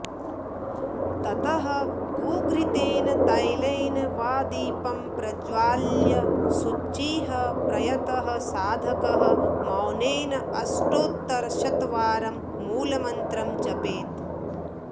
ततः गोघृतेन तैलेन वा दीपं प्रज्वाल्य शुचिः प्रयतः साधकः मौनेन अष्टोत्तरशतवारं मूलमन्त्रं जपेत्